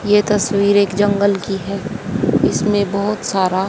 ये तस्वीर एक जंगल की है इसमें बहोत सारा--